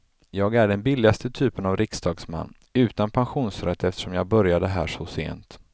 Jag är den billigaste typen av riksdagsman, utan pensionsrätt eftersom jag började här så sent.